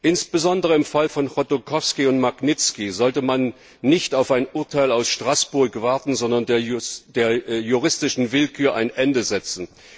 Insbesondere im Fall von Chodorkowski und Magnitski sollte man nicht auf ein Urteil aus Straßburg warten, sondern der juristischen Willkür ein Ende setzen.